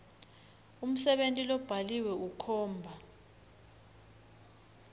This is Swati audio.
umsebenti lobhaliwe ukhomba